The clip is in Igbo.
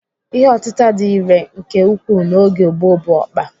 Ihe otịta dị irè nke ukwuu n'oge gboo bụ ọkpa.